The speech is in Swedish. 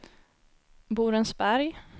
Borensberg